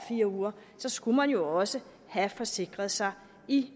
fire uger skulle man jo også have forsikret sig i